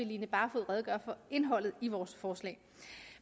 line barfod redegøre for indholdet i vores forslag